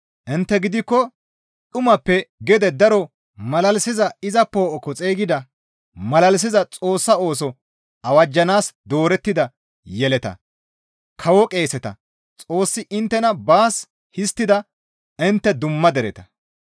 Intte gidikko dhumappe gede daro malalisiza iza poo7okko xeygida malalisiza Xoossaa ooso awajjanaas doorettida yeletata, Kawo qeeseta, Xoossi inttena baas histtida intte dumma dereta.